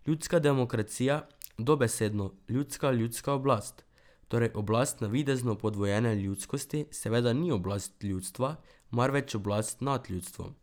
Ljudska demokracija, dobesedno, ljudska ljudska oblast, torej oblast navidezno podvojene ljudskosti seveda ni oblast ljudstva, marveč oblast nad ljudstvom.